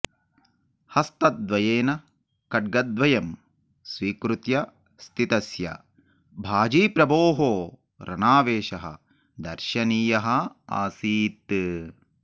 हस्तद्वयेन खङ्ग्द्वयं स्वीकृत्य स्थितस्य बाजीप्रभोः रणावेशः दर्शनीयः आसीत्